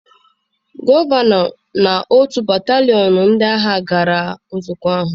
Gọvanọ na otu batalion ndị agha gara nzukọ ahụ.